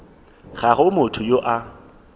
ga go motho yo a